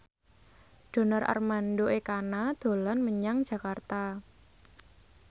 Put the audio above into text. Donar Armando Ekana dolan menyang Jakarta